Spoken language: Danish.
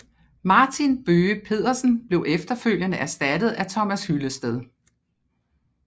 Martin Bøge Pedersen blev efterfølgende erstattet af Thomas Hyllested